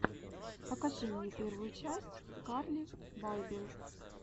покажи мне первую часть карли байбел